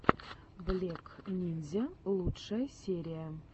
блек нинзя лучшая серия